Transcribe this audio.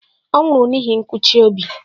Ọ nwụrụ n'ihi nkụchi obi.